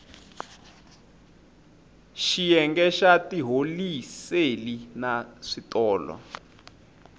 xiyenge xa tiholiseli na switolo